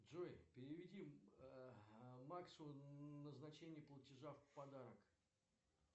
джой переведи максу назначение платежа в подарок